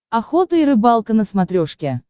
охота и рыбалка на смотрешке